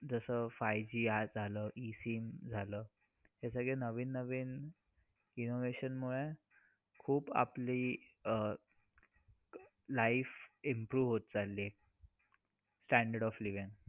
जस five G आज आलं E-SIM झालं हे सगळे नवीन नवीन innovation मुळे खूप आपली अह life improve होत चाललीये. standard of living.